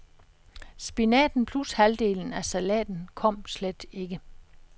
Spinaten plus halvdelen af salaten kom slet ikke.